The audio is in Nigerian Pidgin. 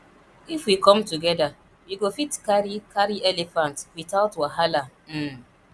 if we come together we go fit carry carry elephant without wahala um